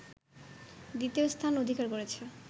দ্বিতীয় স্থান অধিকার করেছে